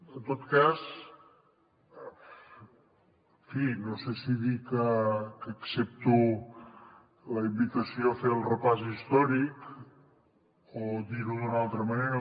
en tot cas en fi no sé si dir que accepto la invitació a fer el repàs històric o dir ho d’una altra manera